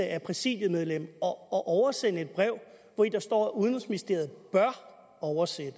af præsidiemedlem at oversende et brev hvori der står at udenrigsministeriet bør oversætte